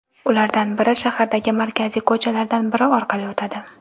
Ulardan biri shahardagi markaziy ko‘chalardan biri orqali o‘tadi.